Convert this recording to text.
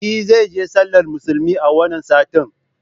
E zai je sallar musulmi a wannan satin